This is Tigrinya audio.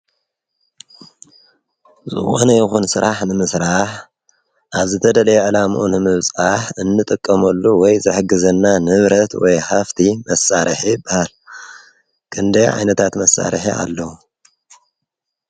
ዝወነ ይኹን ሥራሕ ንምሥራሕ ኣለዉዘተደለየ ዕላምኡን ምብጻሕ እንጥቀመሉ ወይ ዘሕግዘና ንብረት ወይ ሃፍቲ መሣርሕ በሃል ክንደይ ዓይነታት መሳርሐ ኣለዉ።